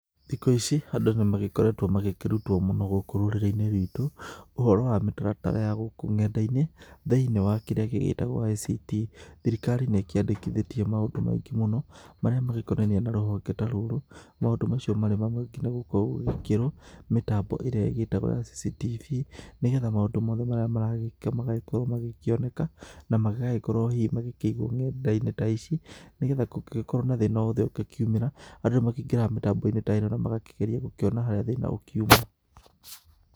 Thikũ ici andũ nĩ magĩkoretwo magĩkĩrutwo mũno gũkũ rũrĩrĩ-inĩ rwitũ, ũhoro wa mĩtaratara ya gũkũ ng'enda-inĩ, thĩ-inĩ wa kĩrĩa gĩgĩtagwo ICT. Thirikari nĩ ĩkĩandĩkithĩtie maũndũ maingĩ mũno, marĩa magĩkonainie na rũhonge ta rũrũ, maũndũ macio marĩ maingĩ nĩ gũkorwo gũgĩkĩrwo mĩtambo ĩrĩa ĩgĩtagwo ya CCTV, nĩgetha maũndũ mothe marĩa maragĩka magagĩkorwo magĩkĩoneka, na magagĩkorwo hihi magĩkĩigwo ng'enda-inĩ ta ici, nĩgetha kũngĩgĩkorwo na thĩna o wothe ũrĩa ũngĩkiumĩra, andũ nĩ makĩingĩraga mĩtambo-inĩ ta ĩno na magakĩgeria gũkĩona harĩa thĩna ũkiuma.